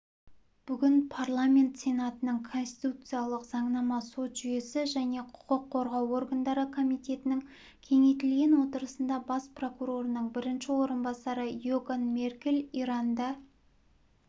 бүгін парламент сенатының конституциялық заңнама сот жүйесі және құқық қорғау органдары комитетінің кеңейтілген отырысында бас прокурорының бірінші орынбасары иоган меркель иранда